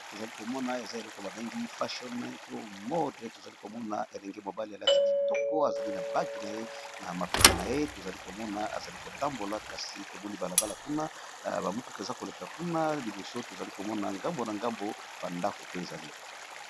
Awa tozali komona, ezali elenge mobali moko, ayali kolakisa biso ndenge alati kitoko